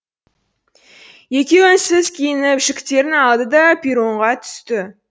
екеуі үнсіз киініп жүктерін алды да перронға түсті